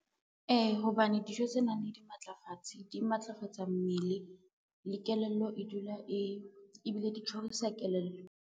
Ee, hobane dijo tse nang le dimatlafatsi di matlafatsa mmele ebile di tjhorisa kelello.